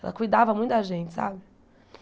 Ela cuidava muito da gente, sabe?